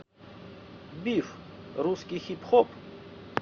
биф русский хип хоп